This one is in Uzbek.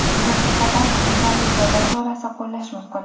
unga nisbatan intizomiy jazo chorasi qo‘llash mumkin.